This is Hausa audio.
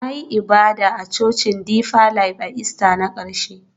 Na yi ibada a Cocin Deeper Life a Ista na ƙarshe